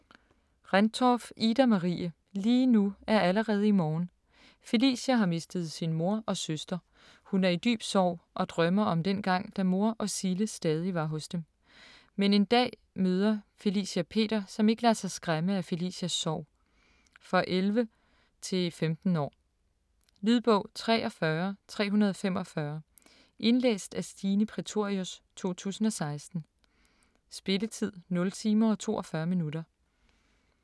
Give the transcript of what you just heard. Rendtorff, Ida-Marie: Lige nu er allerede i morgen Felicia har mistet sin mor og søster. Hun er i dyb sorg og drømmer om dengang, da mor og Cille stadig var hos dem. Men en dag møder Felicia Peter, der ikke lader sig skræmme af Felicias sorg. For 11-15 år. Lydbog 43345 Indlæst af Stine Prætorius, 2016. Spilletid: 0 timer, 42 minutter.